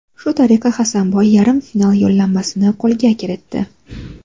Shu tariqa Hasanboy yarim final yo‘llanmasini qo‘lga kiritdi.